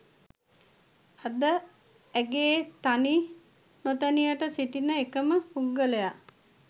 අද ඇගේ තනි නොතනියට සිටින එකම පුද්ගලයා